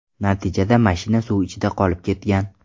Natijada mashina suv ichida qolib ketgan.